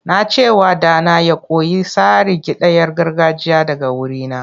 Na ce wa ɗana ya koyi tsarin kidayar gargajiya daga wurina.